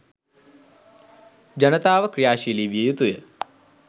ජනතාව ක්‍රියාශීලි විය යුතුය.